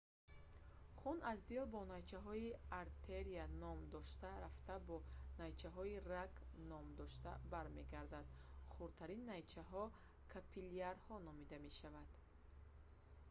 хун аз дил бо найчаҳои артерия ном дошта рафта бо найчаҳои раг ном дошта бармегардад хурдтарин найчаҳо капиллярҳо номида мешаванд